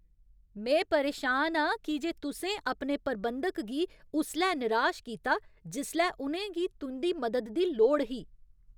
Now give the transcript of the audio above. में परेशान आं की जे तुसें अपने प्रबंधक गी उसलै निराश कीता जिसलै उ'नें गी तुं'दी मदद दी लोड़ ही।